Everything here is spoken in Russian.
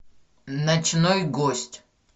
ночной гость